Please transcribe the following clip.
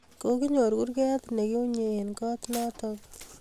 kokinyor kurget ne kiunye eng kot notok